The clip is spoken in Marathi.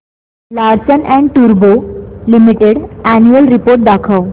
लार्सन अँड टुर्बो लिमिटेड अॅन्युअल रिपोर्ट दाखव